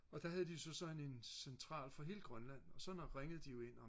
og der havde de jo så sådan en central for hele Grønland og så når ringede de jo ind og